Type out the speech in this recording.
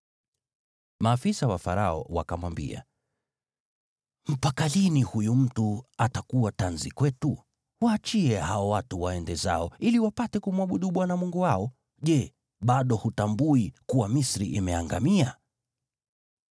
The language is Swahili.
Maafisa wa Farao wakamwambia, “Mpaka lini huyu mtu atakuwa tanzi kwetu? Waachie hao watu waende zao, ili wapate kumwabudu Bwana Mungu wao. Je, bado hutambui kuwa Misri imeangamia?”